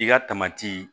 I ka